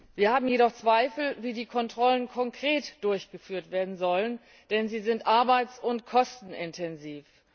Wir haben jedoch Zweifel, wie die Kontrollen konkret durchgeführt werden sollen, denn sie sind arbeits und kostenintensiv.